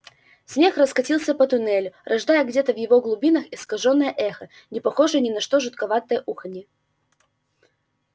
смех раскатился по туннелю рождая где-то в его глубинах искажённое эхо не похожее ни на что жутковатое уханье